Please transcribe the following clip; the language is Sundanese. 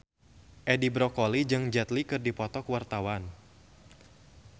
Edi Brokoli jeung Jet Li keur dipoto ku wartawan